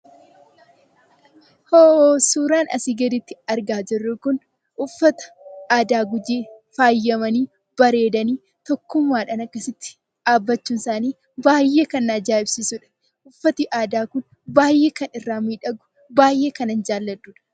Suuraan asii gaditti argaa jirru kun uffata aadaa Gujiin faayamanii, bareedanii tokkummaadhaan akkasitti dhaabbachuun isaanii baay'ee kan na ajaa'ibsiisudha. Uffanni aadaa kun baay'ee kan irraa miidhagu, baay'ee kanan jaalladhuudha.